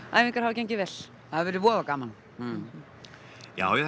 æfingar hafa gengið vel það hefur verið voða gaman já já